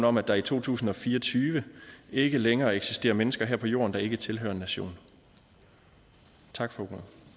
om at der i to tusind og fire og tyve ikke længere eksisterer mennesker her på jorden der ikke tilhører en nation tak for